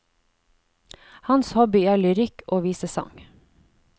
Hans hobby er lyrikk og visesang.